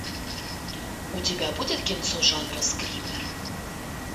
у тебя будет кинцо жанра скример